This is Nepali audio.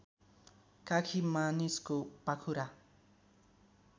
काखी मानिसको पाखुरा